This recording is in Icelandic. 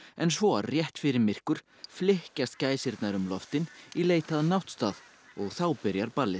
en svo rétt fyrir myrkur flykkjast gæsirnar um loftin í leit að náttstað og þá byrjar ballið